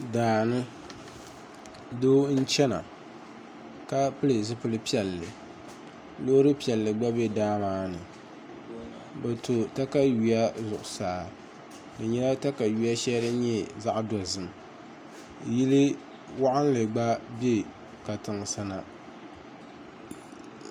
Daani doo n chɛna ka pili zipili piɛlli looro piɛlli gba bɛ daa maa ni bi to katawiya zuɣusaa di nyɛla katawiya shɛli din nyɛ zaɣ dozim yili waɣanli gba bɛ katiŋ sa na